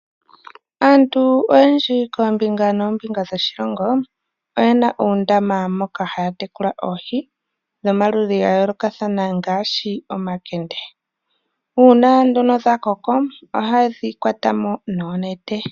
Aantu oyendji koombinga noombinga yoshilongo oyena uundama moka haya tekula oohi dhomaludhi gayoolokathana ngaashi omakende nuuna dhakoko ohayedhi kwatamo noonete.